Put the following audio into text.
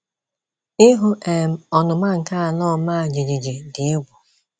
Ịhụ́ um ọnụma nke ala ọma jijiji dị egwu.